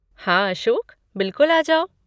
हाँ अशोक, बिल्कुल आ जाओ।